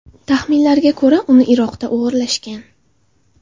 Taxminlarga ko‘ra, uni Iroqda o‘g‘irlashgan.